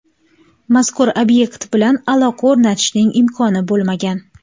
Mazkur obyekt bilan aloqa o‘rnatishning imkoni bo‘lmagan.